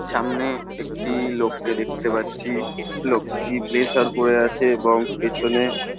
সামনে একটি-ই লোককে দেখতে পাচ্ছি লোকটি ব্লেজার পরে আছে এবং পেছনে --